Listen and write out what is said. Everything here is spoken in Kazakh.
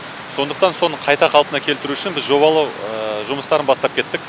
сондықтан соны қайта қалпына келтіру үшін біз жобалау жұмыстарын бастап кеттік